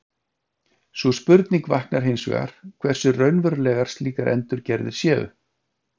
sú spurning vaknar hins vegar hversu raunverulegar slíkar endurgerðir séu